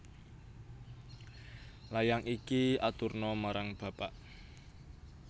Layang iki aturna marang bapak